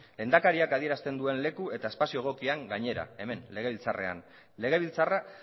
lehendakariak adierazten leku eta espazio egokian gainera hemen legebiltzarrean legebiltzarra